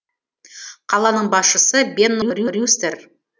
қаланың басшысы бенно рюстер